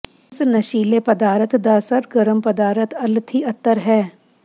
ਇਸ ਨਸ਼ੀਲੇ ਪਦਾਰਥ ਦਾ ਸਰਗਰਮ ਪਦਾਰਥ ਅਲਥੀ ਅਤਰ ਹੈ